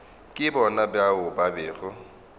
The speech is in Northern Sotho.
ke bona bao ba bego